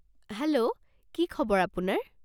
Hello, কি খবৰ আপোনাৰ?